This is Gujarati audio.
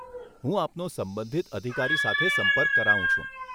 હું આપનો સંબંધિત અધિકારી સાથે સંપર્ક કરાવું છું.